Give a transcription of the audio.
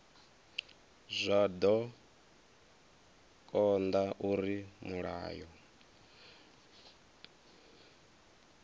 zwa do konda uri mulayo